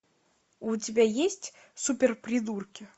у тебя есть суперпридурки